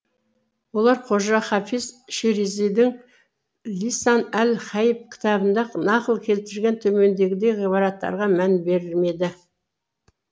олар қожа хафиз ширезидің лисан әл ғаип кітабында нақыл келтірген төмендегідей ғибраттарға мән бермеді